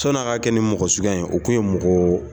Sɔnni a ka kɛ nin mɔgɔ suguya ye o kun ye mɔgɔ